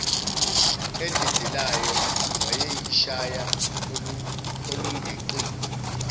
edelelayo wayeyishaya olungeqiwa